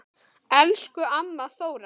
Elsku amma Þóra.